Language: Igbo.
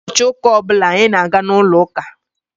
Ụbọchị ụka ọ bụla anyị na-aga n'ụlọ uka.